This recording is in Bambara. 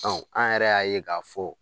Ɔ an yɛrɛ y'a ye k'a fɔ